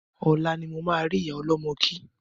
Ọ̀la ni mo ma ri ìyá ọlọ́mọ kí